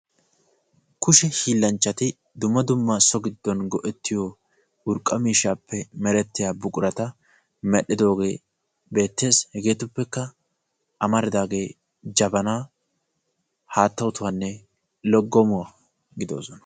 Kushe hiillanchchati dumma dumma so giddon go'ettiyo urqqa miishshaappe merettiya buqurata medhdhidoogee beettees. Hegeetuppekka amaridaagee jabanaa, haatta otuwanne loggomuwa gidoosona.